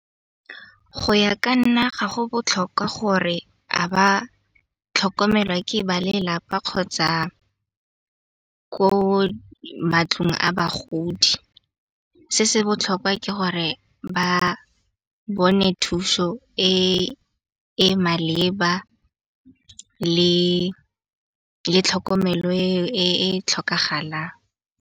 Go ya ka nna ga go botlhokwa gore a ba tlhokomelwa ke ba lelapa kgotsa ko a bagodi. Se se botlhokwa ke gore ba bone thuso e e maleba le tlhokomelo e tlhokagalang.